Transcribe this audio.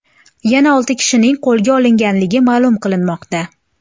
Yana olti kishining qo‘lga olinganligi ma’lum qilinmoqda.